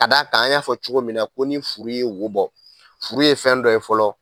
Ka d' a kan an y'a fɔ cogo min na ko ni furu ye wo bɔ, furu ye fɛn dɔ ye fɔlɔ.